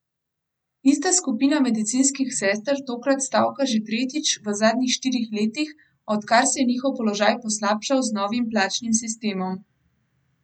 Ista skupina medicinskih sester tokrat stavka že tretjič v zadnjih štirih letih, odkar se je njihov položaj poslabšal z novim plačnim sistemom.